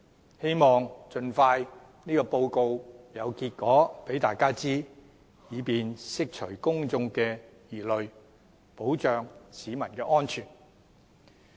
我希望有關的測試盡快有結果並讓大家知道，以便釋除公眾疑慮，保障市民安全。